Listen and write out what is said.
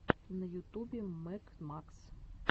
на ютубе мэг макс